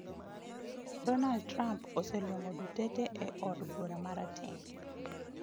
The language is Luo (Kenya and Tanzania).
Donald Trump oseluongo Duterte e od bura marateng'